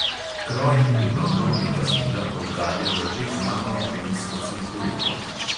Kroji tega modnega stila poudarjajo že znano žensko silhueto.